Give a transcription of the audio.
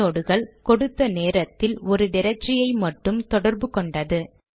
ஐநோட்கள் கொடுத்த ஒரு நேரத்தில் ஒரு ட்ரக்டரி ஐ மட்டும் தொடர்பு கொண்டது